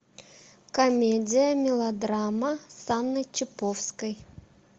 комедия мелодрама с анной чиповской